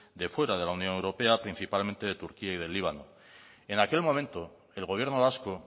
de fuera de la unión europea principalmente de turquía y del líbano en aquel momento el gobierno vasco